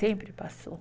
Sempre passou.